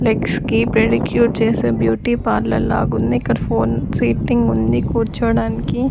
Legs కి pedicure చేసే beauty parlour లాగుంది ఇక్కడ ఫోన్ సీటింగ్ ఉంది కూర్చోడానికి.